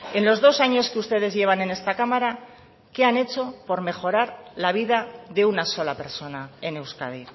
en los dos años que ustedes llevan en esta cámara qué han hecho por mejorar la vida de una sola persona en euskadi